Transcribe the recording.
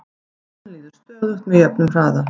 tíminn líður stöðugt með jöfnum hraða